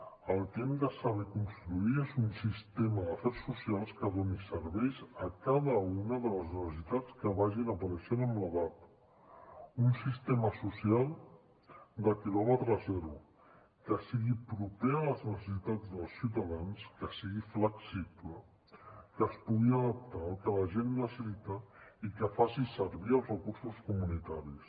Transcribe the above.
el que hem de saber construir és un sistema d’afers socials que doni serveis a cada una de les necessitats que vagin apareixent amb l’edat un sistema social de quilòmetre zero que sigui proper a les necessitats dels ciutadans que sigui flexible que es pugui adaptar al que la gent necessita i que faci servir els recursos comunitaris